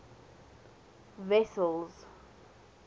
wessels